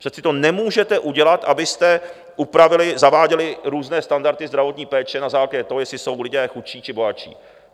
Přece to nemůžete udělat, abyste upravili, zaváděli různé standardy zdravotní péče na základě toho, jestli jsou lidé chudší, či bohatší.